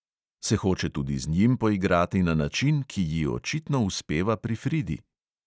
Se hoče tudi z njim poigrati na način, ki ji očitno uspeva pri fridi?